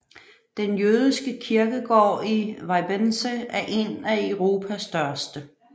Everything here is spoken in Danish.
Den jødiske kirkegård i Weißensee er en af Europas største